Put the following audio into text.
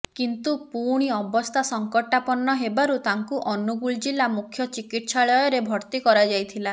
କିନ୍ତୁ ପୁଣି ଅବସ୍ଥା ସଂକଟାପନ୍ନ ହେବାରୁ ତାଙ୍କୁ ଅନୁଗୁଳ ଜିଲ୍ଲା ମୁଖ୍ୟ ଚିକିତ୍ସାଳୟରେ ଭର୍ତ୍ତି କରାଯାଇଥିଲା